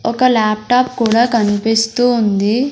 ఒక లాప్టాప్ కూడా కన్పిస్తూ ఉంది.